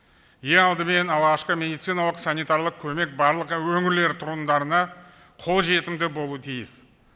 ең алдымен алғашқы медициналық санитарлық көмек барлық өңірлер тұрғындарына қолжетімді болуы тиіс